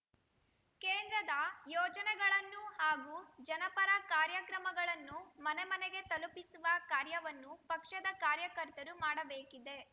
ಕೇಂದ್ರದ ಯೋಜನೆಗಳನ್ನು ಹಾಗೂ ಜನಪರ ಕಾರ್ಯಕ್ರಮಗಳನ್ನು ಮನೆಮನೆಗೆ ತಲುಪಿಸುವ ಕಾರ್ಯವನ್ನು ಪಕ್ಷದ ಕಾರ್ಯಕರ್ತರು ಮಾಡಬೇಕಿದೆ